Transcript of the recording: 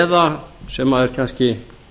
eða sem er kannski